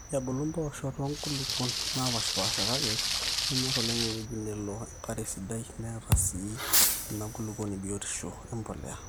ebulu mpoosho too nkulukuon naapaashipaasha kake enyor oleng ewueji nelo enkare esidai neeta sii inakulukuoni biotishu empolea